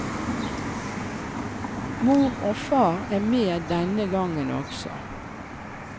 Mor og far er med denne gangen også.